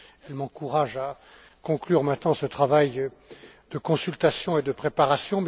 Elles m'encouragent à conclure maintenant ce travail de consultation et de préparation.